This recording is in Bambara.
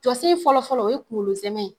Jɔsen fɔlɔfɔlɔ o ye kunkolo zɛmɛ ye